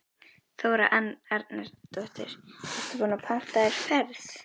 Þóra Arnórsdóttir: Ertu búinn að panta þér ferð?